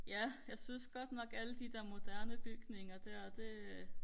ja jeg synes godt nok alle de der moderne bygninger der det